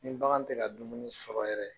Ni bagan tɛ ka dumuni sɔrɔ yɛrɛ